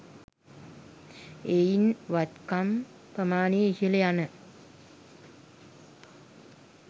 එයින් වත්කම් ප්‍රමාණය ඉහළ යන